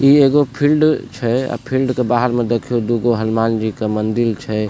इ एगो फील्ड छै अ फील्ड के बाहर मे देखियो दू गो हनुमान जी के मंदिर छै।